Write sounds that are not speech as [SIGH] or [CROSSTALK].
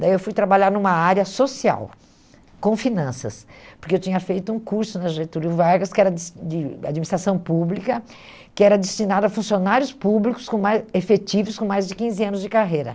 Daí eu fui trabalhar numa área social, com finanças, porque eu tinha feito um curso na Getúlio Vargas, que era de [UNINTELLIGIBLE] de administração pública, que era destinado a funcionários públicos com mais efetivos com mais de quinze anos de carreira.